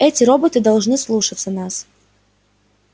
эти роботы должны слушаться нас